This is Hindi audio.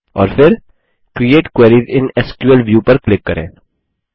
और फिर create query in SQL view पर क्लिक करें